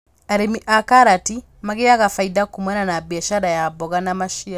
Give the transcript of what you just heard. Arĩmi a karati magĩaga bainda kumana na mbiacara ya mboga na maciaro